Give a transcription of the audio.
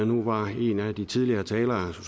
nu var en af de tidligere talere